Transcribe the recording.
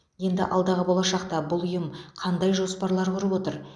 енді алдағы болашақта бұл ұйым қандай жоспарлар құрып отыр